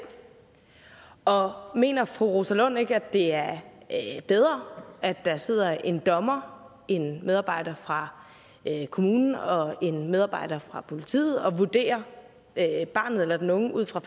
og mener fru rosa lund ikke at det er bedre at der sidder en dommer en medarbejder fra kommunen og en medarbejder fra politiet og vurderer barnet eller den unge ud fra